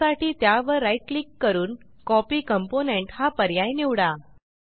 त्यासाठी त्यावर right click करून कॉपी कॉम्पोनेंट हा पर्याय निवडा